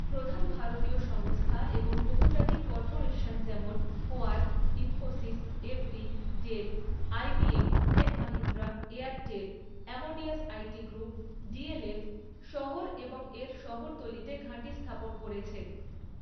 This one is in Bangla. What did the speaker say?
প্রধান ভারতীয় সংস্থা এবং বহুজাতিক কর্পোরেশন যেমন Quark, Infosys, Evry, Dell, IBM, Tech Mahindra, Airtel, Amadeus IT group, DLF শহর এবং এর শহরতলিতে ঘাঁটি স্থাপন করেছে।